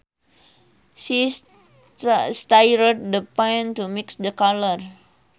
She stirred the paint to mix the color